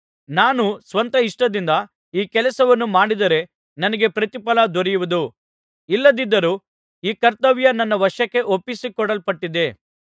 ನಾನು ಸ್ವಂತ ಇಷ್ಟದಿಂದ ಈ ಕೆಲಸವನ್ನು ಮಾಡಿದರೆ ನನಗೆ ಪ್ರತಿಫಲ ದೊರೆಯುವುದು ಇಲ್ಲದಿದ್ದರೂ ಈ ಕರ್ತವ್ಯ ನನ್ನ ವಶಕ್ಕೆ ಒಪ್ಪಿಸಿಕೊಡಲ್ಪಟ್ಟಿದೆ